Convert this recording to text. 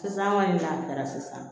Sisan an kɔni n'a kɛra sisan